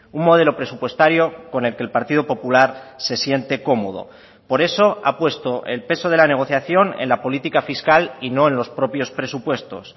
un modelo presupuestario con el que el partido popular se siente cómodo por eso ha puesto el peso de la negociación en la política fiscal y no en los propios presupuestos